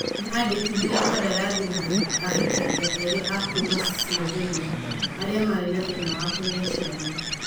Nĩ andikithirie kandarathi na ahikania erĩ a kuuma Slovenia. Arĩa maarĩ na thĩna wa kũgĩa ciana